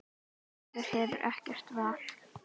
Maður hefur ekkert val.